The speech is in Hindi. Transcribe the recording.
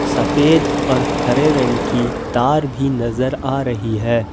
सफेद और हरे रंग की तार भी नजर आ रही है।